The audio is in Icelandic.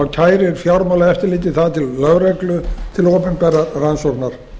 kærir fjármálaeftirlitið það til lögreglu til opinberrar rannsóknar